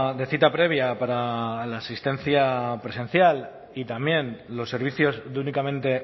de cita previa para la asistencia presencial y también los servicios de únicamente